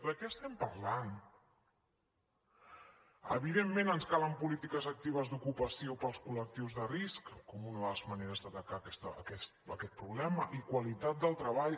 de què estem parlant evidentment ens calen polítiques actives d’ocupació per als col·lectius de risc com una de les maneres d’atacar aquest problema i qualitat del treball